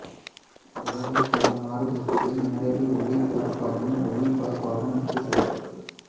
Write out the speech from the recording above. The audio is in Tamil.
உலகின் பல நாடுகளுக்கும் நேரடி ஒலிபரப்பாகவும் ஒளிபரப்பாகவும் எடுத்துச் செல்லப்பட்டது